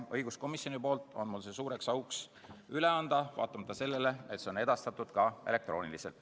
Õiguskomisjoni nimel on mul suur au see üle anda, vaatamata sellele, et see on edastatud ka elektrooniliselt.